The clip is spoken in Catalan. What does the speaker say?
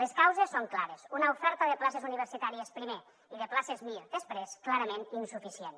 les causes són clares una oferta de places universitàries primer i de places mir després clarament insuficient